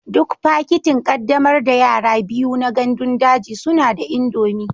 Duk fakitin ƙaddamar da yara biyu na gandun daji suna da indomie